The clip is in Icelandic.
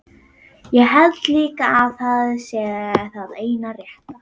Ég held líka að það sé það eina rétta.